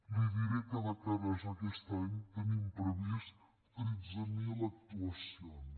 li diré que de cara a aquest any tenim previstes tretze mil actuacions